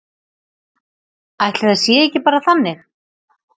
Ætli það sé ekki bara þannig.